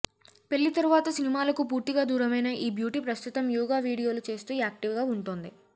పెళ్లి తరువాత సినిమాలకు పూర్తిగా దూరమైన ఈ బ్యూటీ ప్రస్తుతం యోగా వీడియోలు చేస్తూ యాక్టివ్గా ఉంటోంది